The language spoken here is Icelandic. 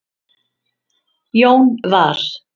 Jón var